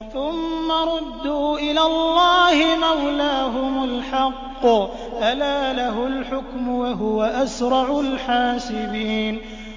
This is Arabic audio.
ثُمَّ رُدُّوا إِلَى اللَّهِ مَوْلَاهُمُ الْحَقِّ ۚ أَلَا لَهُ الْحُكْمُ وَهُوَ أَسْرَعُ الْحَاسِبِينَ